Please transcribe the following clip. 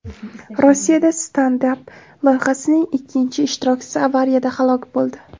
Rossiyada Stand Up loyihasining ikki ishtirokchisi avariyada halok bo‘ldi.